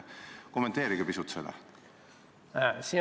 Kommenteerige pisut seda!